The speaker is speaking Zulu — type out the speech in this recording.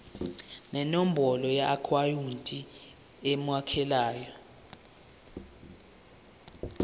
nenombolo yeakhawunti emukelayo